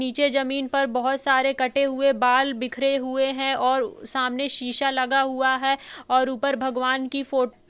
नीचे जमीन पर बहोत सारे कटे हुए बाल बिखरे हुए है और सामने शीशा लगा हुआ है और ऊपर भगवान की फोट --